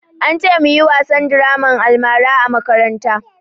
An ce mu yi wasan draman almara a makaranta